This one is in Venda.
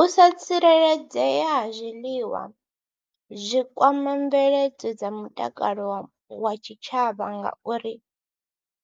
U sa tsireledzea ha zwiliwa zwi kwama mveledzo dza mutakalo wa tshitshavha ngauri